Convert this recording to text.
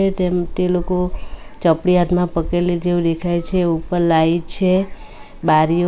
તેમ તે લોકો ચપડીયાતમાં પકેલી જેવી દેખાય છે ઉપર લાઈટ છે બારીઓ --